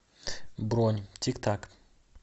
бронь тик так